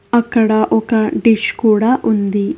అక్కడ ఒక డిష్ కూడా ఉంది.